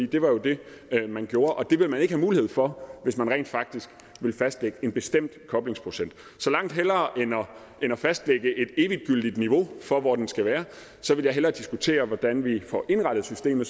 det var jo det man gjorde og det vil man ikke have mulighed for hvis man rent faktisk vil fastlægge en bestemt koblingsprocent så langt hellere end at fastlægge et eviggyldigt niveau for hvor den skal være så vil jeg hellere diskutere hvordan vi får indrettet systemet